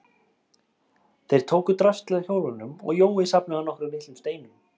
Þeir tóku draslið af hjólunum og Jói safnaði nokkrum litlum steinum.